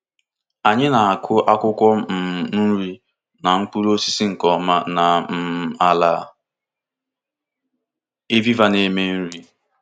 Anyị na-akụ akwụkwọ um nri na mkpụrụ osisi nke ọma na um ala ịvịva na-eme nri.